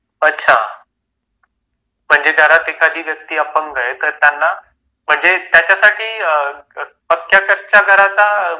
म्हणजे घरात एखादी व्यक्ती अपंग आहे करताना म्हणजे त्याच्यासाठी पक्क्या कच्या घराचा क्रायटेरिया आहे की नाही